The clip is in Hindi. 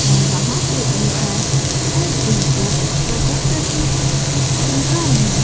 और वहां पे इनका हेड इनको प्रोजेक्टर से कुछ समझा रहे है।